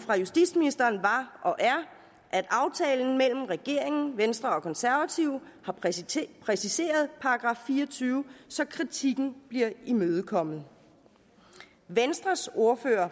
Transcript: fra justitsministeren var og er at aftalen mellem regeringen venstre og konservative har præciseret præciseret § fire og tyve så kritikken bliver imødekommet venstres ordfører